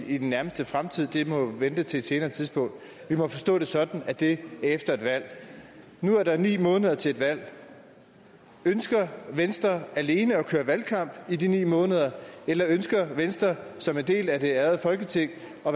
i den nærmeste fremtid det må vente til et senere tidspunkt vi må forstå det sådan at det er efter et valg nu er der ni måneder til et valg ønsker venstre alene at køre valgkamp i de ni måneder eller ønsker venstre som en del af det ærede folketing at